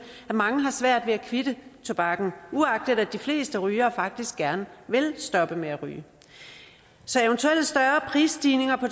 at mange har svært ved at kvitte tobakken uagtet at de fleste rygere faktisk gerne vil stoppe med at ryge så eventuelle større prisstigninger på